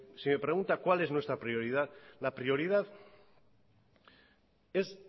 si me pregunta cuál es nuestra prioridad la prioridad es